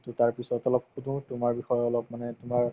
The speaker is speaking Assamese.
to তাৰপিছত অলপ সুধো তোমাৰ বিষয়ে অলপ মানে তোমাৰ